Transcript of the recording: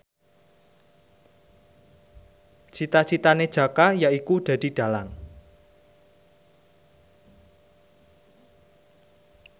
cita citane Jaka yaiku dadi dhalang